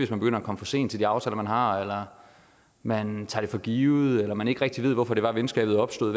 begynder at komme for sent til de aftaler man har eller man tager det for givet eller man ikke rigtig ved hvorfor det var venskabet opstod